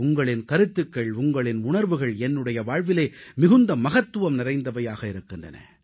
உங்களின் கருத்துகள் உங்களின் உணர்வுகள் என்னுடைய வாழ்விலே மிகுந்த மகத்துவம் நிறைந்தவையாக இருக்கின்றன